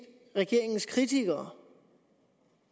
regeringens kritikere